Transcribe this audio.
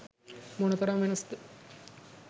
මොන තරම් වෙනස් ද